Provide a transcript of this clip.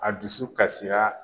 A dusu kasira